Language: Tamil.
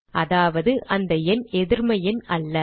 அதாவது அந்த எண் எதிர்ம எண் அல்ல